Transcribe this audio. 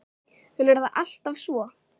En er það alltaf svo?